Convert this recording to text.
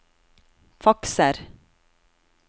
fakser